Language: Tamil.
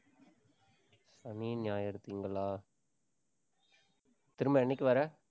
சனி, ஞாயிறு திங்களா? திரும்ப என்னைக்கு வர்ற?